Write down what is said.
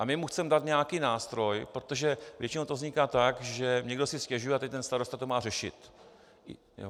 A my mu chceme dát nějaký nástroj, protože většinou to vzniká tak, že někdo si stěžuje a teď ten starosta to má řešit.